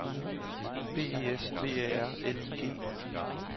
B E S V Æ R L I G